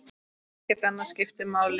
Ekkert annað skiptir máli.